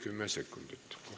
Istungi lõpp kell 13.53.